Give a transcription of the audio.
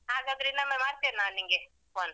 ಹಾಗಾದ್ರೆ ಇನ್ನೊಮ್ಮೆ ಮಾಡ್ತೇನೆ ನಾನ್ ನಿನ್ಗೆ call .